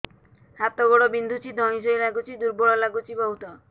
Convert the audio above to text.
ହାତ ଗୋଡ ବିନ୍ଧୁଛି ଧଇଁସଇଁ ଲାଗୁଚି ଦୁର୍ବଳ ଲାଗୁଚି ବହୁତ